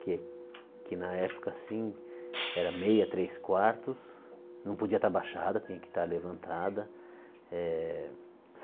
Que que na época, assim, era meia, três quartos, não podia estar abaixada, tinha que estar levantada. Eh